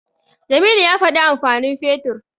Jamilu ya faɗi amfanin Fetur.